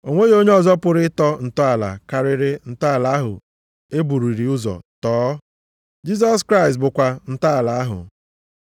O nweghị onye ọzọ pụrụ ịtọ ntọala karịrị ntọala ahụ e bururị ụzọ tọọ. Jisọs Kraịst bụkwa ntọala ahụ.